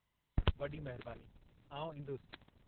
वॾी महिरबानी, आउं ईंदुसि।